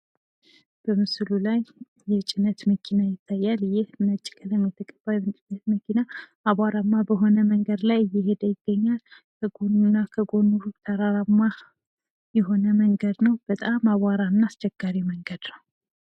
በምስሉ ላይ የጭነት መኪና ይታያል ይህ ነጭ ቀለም የተቀባ የጭነት መኪና አቧራማ በሆነ መንገድ ላይ እየሄደ ይገኛል ከጎን እና ከጎኑ ተራራማ የሆነ መንገድ ነው ፥ በጣም አቧራ እና አስቸጋሪ መንገድ ነው።